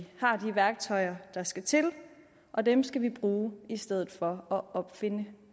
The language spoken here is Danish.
har de værktøjer der skal til og dem skal vi bruge i stedet for at opfinde